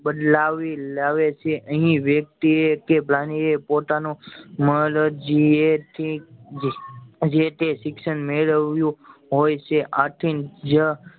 બદલાવી લાવે છે અહી વ્યક્તિ એ કે પ્રાણી એ પોતાની મરજી એ થી જે તે શિક્ષણ મેળવ્યું હોય છે આથી ન જ્યાં